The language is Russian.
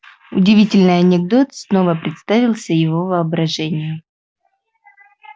удивительный анекдот снова представился его воображению